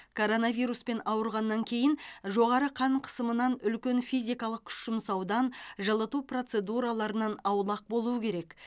коронавируспен ауырғаннан кейін жоғары қан қысымынан үлкен физикалық күш жұмсаудан жылыту процедураларынан аулақ болу керек